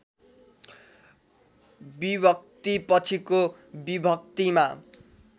विभक्तिपछिको विभक्तिमा